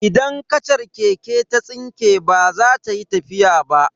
Idan kachar keke ta tsinke baza ta yi tafiya ba.